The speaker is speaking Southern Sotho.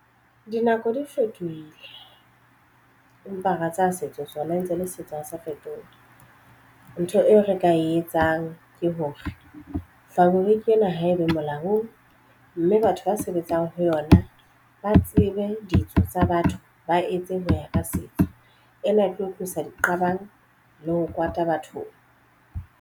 Dinako di fetohile empa ra tsa setso sona e ntse e le setso ha sa fetoha ntho eo re ka e etsang ke hore fabric ena haebe haholo, mme batho ba sebetsang ho yona ba tsebe ditso tsa batho ba etse ho ya ka setso ena e tlo tlisa diqabang le ho kwata bathong.